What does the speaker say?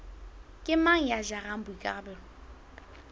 ke mang ya jarang boikarabelo